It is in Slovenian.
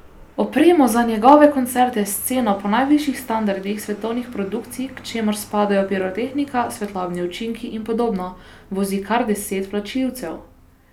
Opremo za njegove koncerte s sceno po najvišjih standardih svetovnih produkcij, k čemur spadajo pirotehnika, svetlobni učinki in podobno, vozi kar deset vlačilcev.